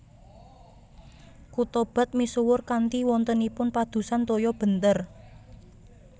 Kutha bath misuwur kanthi wontenipun padusan toya benter